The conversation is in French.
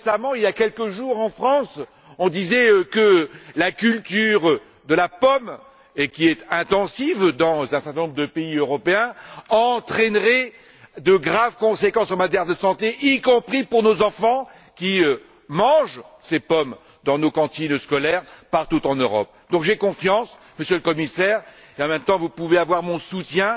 Il y a quelques jours, en France, on disait que la culture de la pomme, qui est intensive dans un certain nombre de pays européens, entraînerait de graves conséquences en matière de santé, y compris pour nos enfants, qui mangent ces pommes dans nos cantines scolaires, partout en Europe. Par conséquent, j'ai confiance, Monsieur le Commissaire, et en même temps, vous pouvez avoir mon soutien.